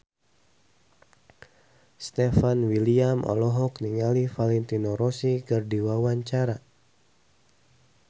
Stefan William olohok ningali Valentino Rossi keur diwawancara